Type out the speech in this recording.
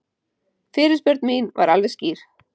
Fyrirspurn mín var alveg skýr